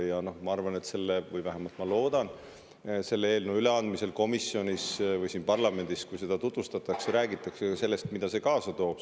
Ja ma arvan – või vähemalt loodan –, et selle eelnõu üleandmisel komisjonis või siin parlamendis, kui seda tutvustatakse, räägitakse ka sellest, mida see kaasa toob.